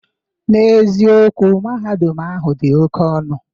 N'eziokwu, Mahadum ahụ dị oke ọnụ.